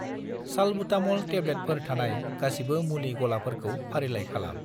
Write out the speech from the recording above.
Salbutamol टेब्लेटफोर थानाय गासिबो मुलि गलाफोरखौ फारिलाइ खालाम।